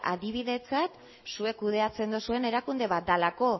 adibidetzat zuek kudeatzen duzuen erakunde bat delako